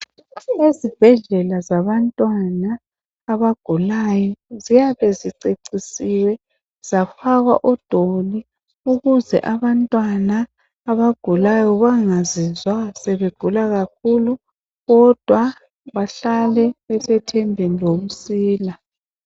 Ezibhedlela zabantwana abagulayo ziyabe zicecisiwe zafakwa odoli ukuze abantwana abagulayo bangazizwa sebegula kakhulu kodwa bahlale besethembeni lokusila .